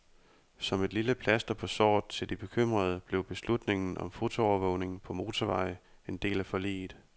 Som et lille plaster på såret til de bekymrede, blev beslutningen om fotoovervågning på motorveje en del af forliget.